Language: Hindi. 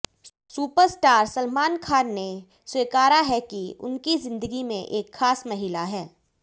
सुपरस्टार सलमान खान ने स्वीकारा है कि उनकी जिंदगी में एक खास महिला है